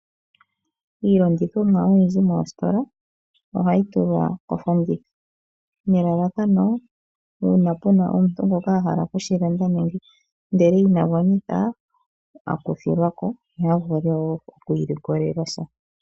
Iilandithomwa oyindji moostola ohayi tulwa kofanditha nelalakano una puna omuntu ngoka ahala okushi landa ndele ina gwanitha aku thilwako yo yavule wo oku ilikolelasha.